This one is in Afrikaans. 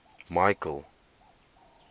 michael